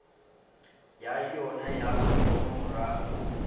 ya yona ya mathomo morago